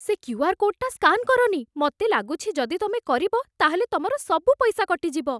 ସେ କ୍ୟୁ.ଆର୍. କୋଡ଼୍‌ଟା ସ୍କାନ୍ କରନି । ମତେ ଲାଗୁଛି ଯଦି ତମେ କରିବ, ତା'ହେଲେ ତମର ସବୁ ପଇସା କଟିଯିବ ।